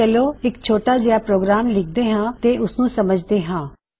ਚਲੋ ਇੱਕ ਛੋਟਾ ਜਿਹਾ ਪ੍ਰੋਗਰਾਮ ਲਿਖਦੇ ਹਾਂ ਤੇ ਉਸਨੂੰ ਸਮਝਦੇ ਰਾਂ